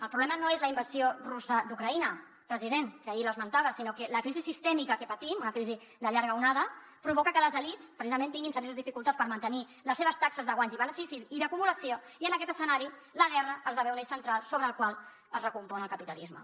el problema no és la invasió russa d’ucraïna president que ahir l’esmentava sinó que la crisi sistèmica que patim una crisi de llarga onada provoca que les elits precisament tinguin serioses dificultats per mantenir les seves taxes de guanys i beneficis i d’acumulació i en aquest escenari la guerra esdevé un eix central sobre el qual es recompon el capitalisme